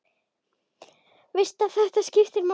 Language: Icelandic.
Veist að þetta skiptir máli.